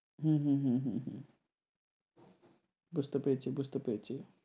হুম হুম হুম হুম হুম বুঝতে পেরেছি, বুঝতে পেরেছি।